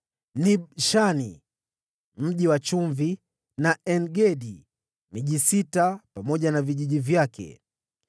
Nibshani, Mji wa Chumvi, na En-Gedi; miji sita pamoja na vijiji vyake.